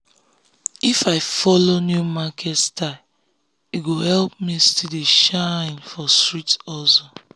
if i follow new market style e go help me still dey shine for street hustle.